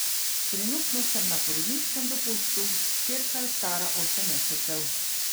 Trenutno sem na porodniškem dopustu, hčerka je stara osem mesecev.